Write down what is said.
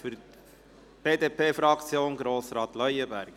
Für die BDP-Fraktion spricht Grossrat Leuenberger.